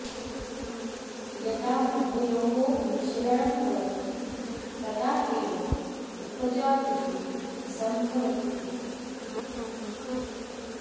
यदा उभयोः मिश्रणं भवति तदा एव उपजातिः सम्भवति इति